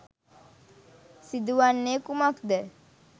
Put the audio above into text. සිදුවන්නේ කුමක් ද?